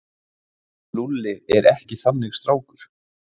Lúlli er ekki þannig strákur.